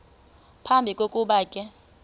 phambi kokuba ke